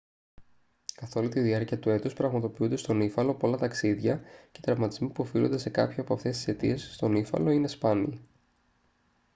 καθόλη τη διάρκεια του έτους πραγματοποιούνται στον ύφαλο πολλά ταξίδια και οι τραυματισμοί που οφείλονται σε κάποια από αυτές τις αιτίες στον ύφαλο είναι σπάνιοι